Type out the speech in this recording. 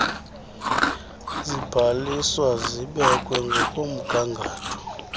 zibhaliswe zibekwe ngokomgangatho